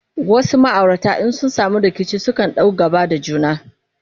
wasu maaurata in sun samu rikici sukan ɗau gaba da juna